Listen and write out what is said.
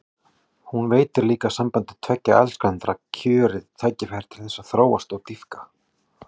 Hún veitir líka sambandi tveggja elskenda kjörið tækifæri til þess að þróast og dýpka.